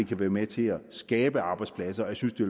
kan være med til at skabe arbejdspladser jeg synes det